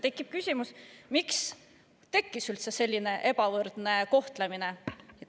Tekib küsimus, miks tekkis üldse selline ebavõrdne kohtlemine.